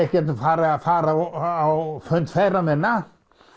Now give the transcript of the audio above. get nú farið að fara á fund feðra minna